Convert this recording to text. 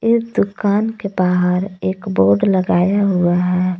एक दुकान के बाहर एक बोर्ड लगाया हुआ है।